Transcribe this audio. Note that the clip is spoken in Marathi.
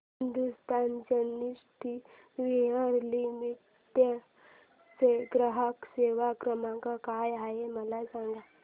हिंदुस्तान सॅनिटरीवेयर लिमिटेड चा ग्राहक सेवा क्रमांक काय आहे मला सांगा